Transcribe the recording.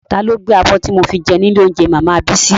Ta ló gbé abọ́ tí mo fi jẹun ní ilé óúnjẹ màmá Bísí?